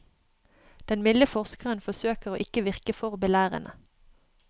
Den milde forskeren forsøker å ikke virke for belærende.